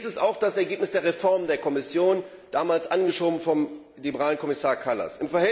Dies ist auch das Ergebnis der Reform der Kommission, damals angeschoben vom liberalen Kommissar Kallas.